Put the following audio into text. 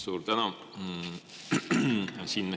Suur tänu!